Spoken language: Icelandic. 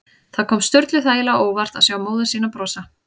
Það kom Sturlu þægilega á óvart að sjá móður sína brosa.